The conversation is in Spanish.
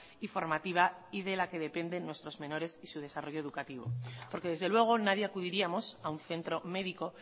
y formativa y de la que dependen nuestros menores y su desarrollo educativo porque desde luego nadie acudiríamos a un centro médico